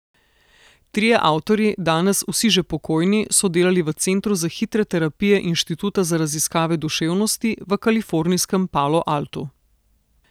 Trije avtorji, danes vsi že pokojni, so delali v centru za hitre terapije Inštituta za raziskave duševnosti v kalifornijskem Palo Altu.